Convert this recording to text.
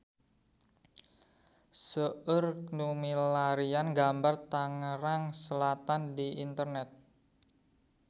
Seueur nu milarian gambar Tangerang Selatan di internet